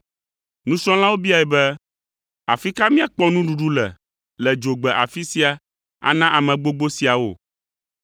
Nusrɔ̃lawo biae be, “Afi ka míakpɔ nuɖuɖu le le dzogbe afi sia ana ame gbogbo siawo?”